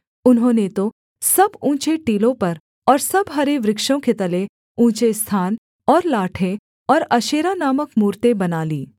उन्होंने तो सब ऊँचे टीलों पर और सब हरे वृक्षों के तले ऊँचे स्थान और लाठें और अशेरा नामक मूरतें बना लीं